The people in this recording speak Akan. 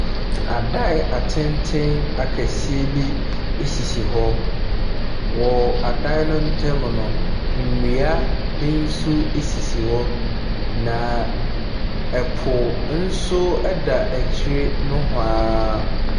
Adan atenten akɛseɛ bi sisi hɔ. Wɔ adan ne ntam no, nnua bi nso sisi hɔ, na po nso da akyire nehoa.